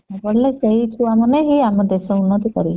ପାଠ ପଢିଲେ ସେଇ ଛୁଆ ମାନେ ହିଁ ଆମ ଦେଶ ଉନ୍ନତି କରିବେ